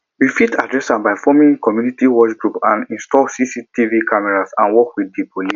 we fit address am by forming community watch group install cctv cameras and work with di police